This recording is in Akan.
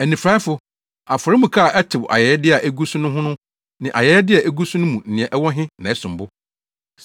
Anifuraefo! Afɔremuka a ɛtew ayɛyɛde a egu so no ho no, ne ayɛyɛde a egu so no mu nea ɛwɔ he na ɛsom bo?